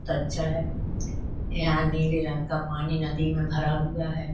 बहुत अच्छा है। यहां नीले रंग का पानी नदी में भरा हुआ है।